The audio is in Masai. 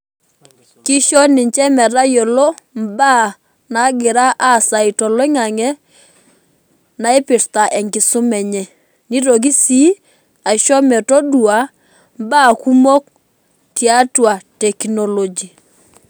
Kisho ninche metayiolo mbaa nagira aasa toloingangi naipirta enkisuma enye ,nitoki si aitoki metaduo mbaa kumok tiatua technology